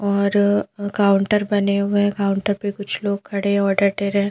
और काउंटर बने हुए काउंटर पे कुछ लोग खड़े ऑर्डर दे रहे--